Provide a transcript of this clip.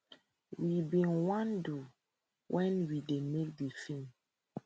we bin wan do wen we dey make di feem